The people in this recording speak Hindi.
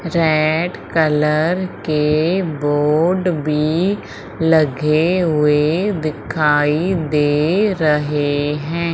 रेड कलर के बोर्ड भी लगे हुए दिखाई दे रहे हैं।